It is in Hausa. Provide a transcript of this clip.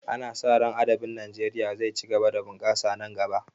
Ana sa ran adabin Najeriya zai ci gaba da bunkasa nan gaba